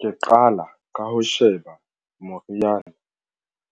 Ke qala ka ho sheba moriana